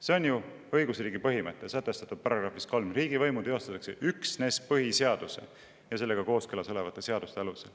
See on ju õigusriigi põhimõte, sätestatud §-s 3: riigivõimu teostatakse üksnes põhiseaduse ja sellega kooskõlas olevate seaduste alusel.